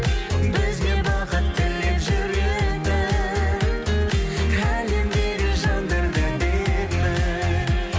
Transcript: бізге бақыт тілеп жүретін әлемдегі жандар да әдемі